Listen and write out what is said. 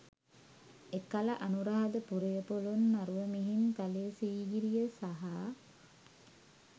එකල අනුරාධපුරය, පොළොන්නරුව, මිහින්තලය, සීගිරිය සහ